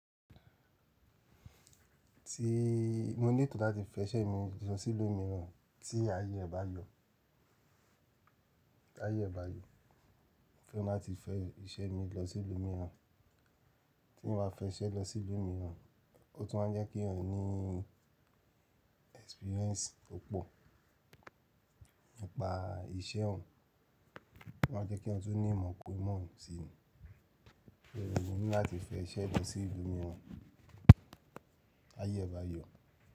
Ti mo ní ètò láti fẹ iṣẹ́ mi lọ sí ìlú mìíràn, tí ayé ẹ bá yọ. T'aye ẹ bá yọ, mo fẹ́ràn lati fẹ iṣẹ́ mi lọ sí ìlú mìíràn. Tí mo bá fẹ́ iṣẹ́ lọ sí ìlú mìíràn, ó tún máa jẹ́ kí ọ̀rẹ́ ní experience púpọ̀, nípa iṣẹ́ òun, ó ma jẹ́ kí èèyàn tun ní ìmọ̀ kun ìmọ̀ síi ni Oòrẹ́ mi ni láti fẹ iṣẹ́ mi sí ìlú mìíràn, tayé ẹ bá yọ.